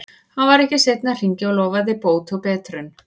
Hann var ekki seinn að hringja og lofaði bót og betrun.